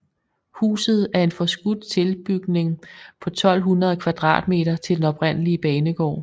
Huset er en forskudt tilbygning på 1200 m² til den oprindelige banegård